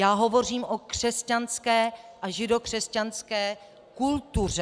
Já hovořím o křesťanské a židokřesťanské kultuře.